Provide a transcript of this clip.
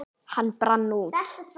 Hann brann út.